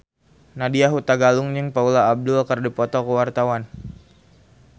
Nadya Hutagalung jeung Paula Abdul keur dipoto ku wartawan